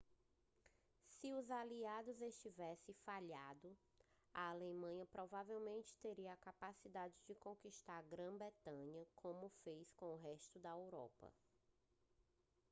se os aliados tivessem falhado a alemanha provavelmente teria a capacidade de conquistar a grã-bretanha como fez com o resto da europa